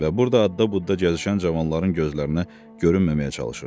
Və burada adda budda gəzişən cavanların gözlərinə görünməməyə çalışırdı.